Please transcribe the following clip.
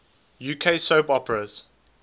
uk soap operas